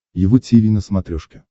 его тиви на смотрешке